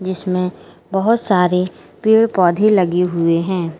इसमें बहोत सारे पेड़ पौधे लगे हुए हैं।